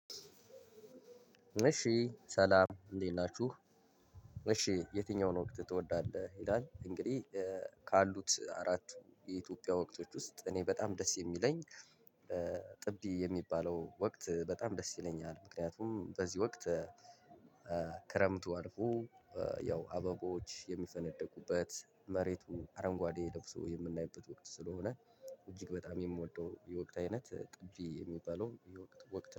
እሺ ሰላም እንዴት ናችሁ። እሺ የትኛውን ወቅት ትወዳለህ ይላል። እንግዲህ ካሉት አራቱ የኢትዮጵያ ወቅቶች ውስጥ እኔ በጣም ደስ የሚለኝ። ጥቢ የሚባለው ወቅት በጣም ደስ ይለኛል። ምክንያቱም በዚህ ወቅት ክረምቱ አልፎ ያው አበቦች የሚፈነድቁበት መሬቱ አረንጓዴ ለብሶ የምናይበት ወቅት ስለሆነ እጅግ በጣም የምወደው የወቅት አይነት ጥቢ የሚባለው የወቅት ወቅት